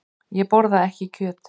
Ég borða ekki kjöt.